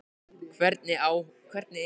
Hvernig er hún að spila úti?